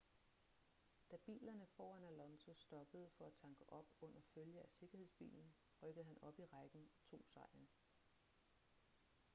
da bilerne foran alonso stoppede for at tanke op under følge af sikkerhedsbilen rykkede han op i rækken og tog sejren